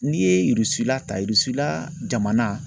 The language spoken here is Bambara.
N'i Irisila ta Irisila jamana